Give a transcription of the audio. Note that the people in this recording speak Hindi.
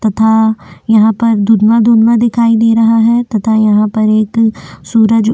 तथा यहाँ पर धुंधला-धुंधला दिखाई दे रहा है तथा यहाँ पर एक सूरज--